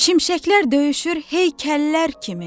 Şimşəklər döyüşür heykəllər kimi.